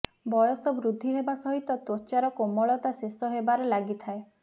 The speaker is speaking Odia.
ବୟସ ବୃଦ୍ଧି ହେବା ସହିତ ତ୍ବଚାର କୋମଳତା ଶେଷ ହେବାର ଲାଗିଥାଏ